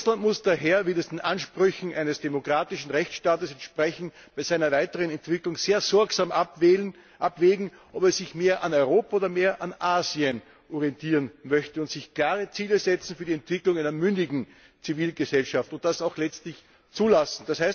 Russland muss daher wie das den Ansprüchen eines demokratischen Rechtsstaats entspricht bei seiner weiteren Entwicklung sehr sorgsam abwägen, ob es sich mehr an Europa oder mehr an Asien orientieren möchte, und sich klare Ziele setzen für die Entwicklung einer mündigen Zivilgesellschaft und das auch letztlich zulassen.